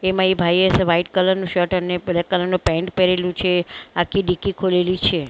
તેમાં એ ભાઈએ વ્હાઈટ કલર નો શર્ટ અને બ્લેક કલર નું પેન્ટ પહેરેલું છે આખી ડિક્કી ખોલેલી છે--